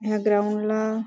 ह्या ग्राउंड ला--